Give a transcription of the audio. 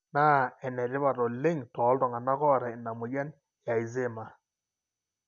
na enetipat oleng toltunganaa ota ina moyian e Alzheimers,